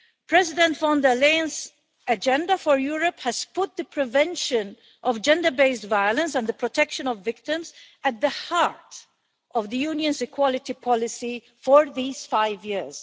President von der Leyen's Agenda for Europe has put the prevention of gender based violence and the protection of victims at the heart of the Union's equality policy for these five years.